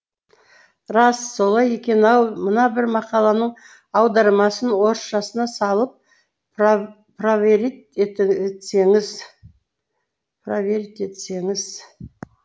рас солай екен ау мына бір мақаланың аудармасын орысшасына салып праверит етсеңіз